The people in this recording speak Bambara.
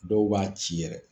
Dɔw b'a ci yɛrɛ.